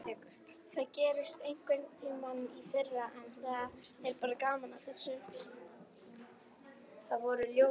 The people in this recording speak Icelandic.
Það gerðist einhverntímann í fyrra en það er bara gaman að þessu.